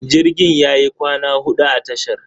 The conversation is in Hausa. Jirgin yayi kwana huɗu a tashar.